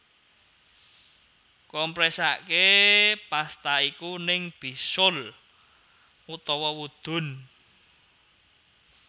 Kompresaké pasta iku ing bisul utawa wudun